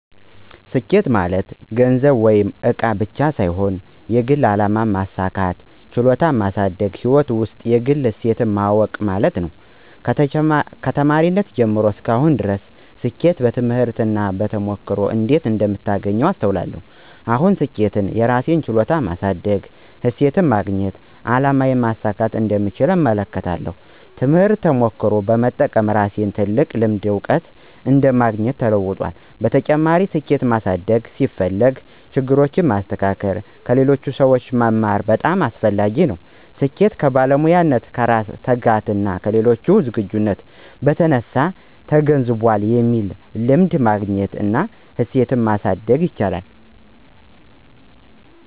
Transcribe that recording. ስኬት ማለት ገንዘብ ወይም እቃ ብቻ ሳይሆን የግል አላማ ማሳካት፣ ችሎታን ማሳደግና ሕይወት ውስጥ የግል እሴት ማወቅ ማለት ነው። ከተማሪነቴ ጀምሮ እስከ አሁን ድረስ ስኬትን በትምህርት እና በተሞክሮ እንዴት እንደምታገኝ አስተውላለሁ። አሁን ስኬትን የራሴን ችሎታ ማሳደግ፣ እሴትን ማግኘትና አላማዬን ማሳካት እንደምቻል እመለከታለሁ። ትምህርትና ተሞክሮ በመጠቀም ለራሴ ትልቅ ልምድና እውቀት እንደማግኘው ተለውጧል። በተጨማሪም፣ ስኬት ማሳደግ ሲፈልግ ችግሮችን ማስተካከል እና ከሌሎች ሰዎች መማር በጣም አስፈላጊ ነው። ስኬት ከባለሙያነት፣ ከራስ ትጋትና ከሌሎች ዝግጅት በተነሳ ተገንዝቧል የሚለውን ልምድ ማግኘት እና እሴትን ማሳደግ ይቻላል።